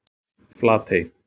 Flatey